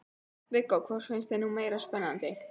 Viggó: Hvort finnst þér nú meira spennandi?